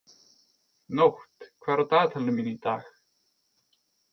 Nótt, hvað er á dagatalinu mínu í dag?